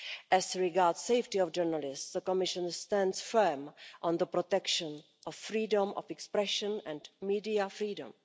As regards safety of journalists, the Commission stands firm on the protection of freedom of expression and media freedom.